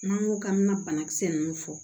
N'an ko k'an bɛ na banakisɛ nunnu fɔ